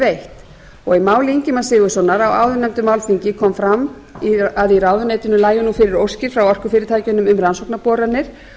veitt og í máli ingimars sigurðssonar á áðurnefndu málþingi kom fram að í ráðuneytinu lægju fyrir óskir frá orkufyrirtækjunum um rannsóknarboranir